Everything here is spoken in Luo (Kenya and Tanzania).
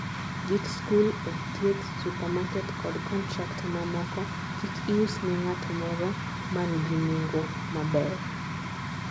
gi skul, od thieth, supermarket kod contractor mamoko: kik ius ne ng'at moro man gi neng'o maber